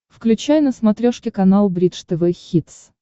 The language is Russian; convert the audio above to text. включай на смотрешке канал бридж тв хитс